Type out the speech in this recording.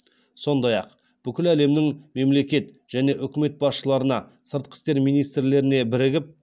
сондай ақ бүкіл әлемнің мемлекет және үкімет басшыларына сыртқы істер министрлеріне бірігіп